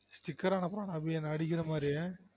sticker அனுப்புறான் அபி என்னை அடிக்கிற மாதிரி